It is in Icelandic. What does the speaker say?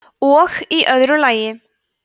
og í öðru lagi